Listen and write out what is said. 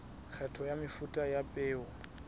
kgetho ya mefuta ya peo